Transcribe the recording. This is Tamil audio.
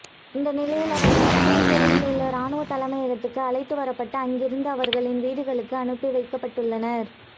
இந்தநிலையில் அவர்கள் அக்குரேகொடயில் உள்ள இராணுவ தலைமையகத்துக்கு அழைத்து வரப்பட்டு அங்கிருந்து அவர்களின் வீடுகளுக்கு அனுப்பி வைக்கப்படவுள்ளனர்